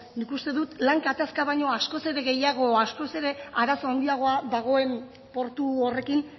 nik uste lan gatazka baino askoz ere gehiago askoz ere arazo handiago dagoen portu horrekin